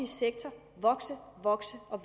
sektor vokse og vokse og